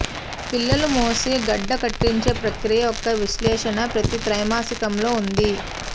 పిల్లల మోసే గడ్డకట్టించే ప్రక్రియ యొక్క విశ్లేషణ ప్రతి త్రైమాసికంలో ఉంది